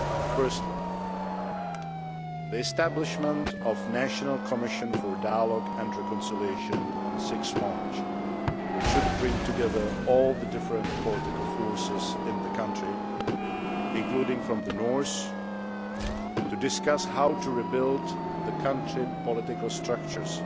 Firstly, the establishment of the National Commission for Dialogue and Reconciliation on 6 March, which should bring together all the different political forces in the country, including from the north, to discuss how to rebuild the country's political structures